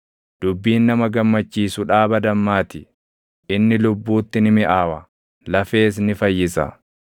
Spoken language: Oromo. Dubbiin nama gammachiisu dhaaba dammaa ti; inni lubbuutti ni miʼaawa; lafees ni fayyisa.